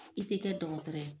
I ti kɛ dɔgɔtɔrɔ ye.